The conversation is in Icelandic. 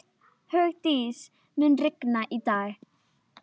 Hún leit inn í kamersið, og á dívaninn.